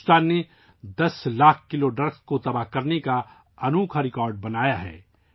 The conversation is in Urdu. بھارت نے 10 لاکھ کلو منشیات تلف کرنے کا انوکھا ریکارڈ بھی بنا ڈالا ہے